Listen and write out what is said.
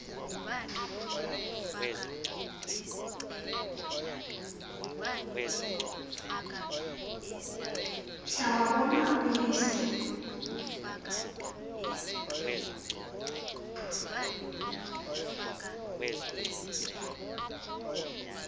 mhla wabona uyise